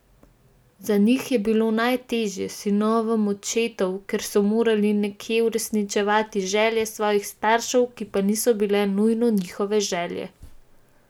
Za njih je bilo najtežje, sinovom očetov, ker so morali nekje uresničevati želje svojih staršev, ki pa niso bile nujno njihove želje.